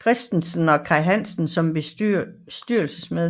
Christensen og Kaj Hansen som bestyrelsesmedlemmer